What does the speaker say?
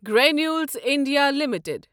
Granules India limited